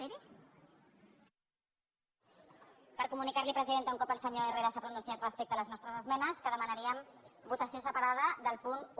per comunicar li presidenta un cop el senyor herrera s’ha pronunciat respecte a les nostres esmenes que demanaríem votació separada del punt un